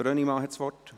Er hat das Wort.